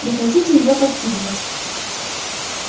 прекратите её подкидывать